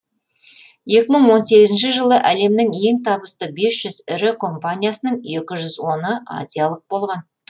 екі мың он сегізінші жылы әлемнің ең табысты бес жүз ірі компаниясының екі жүз оны азиялық болған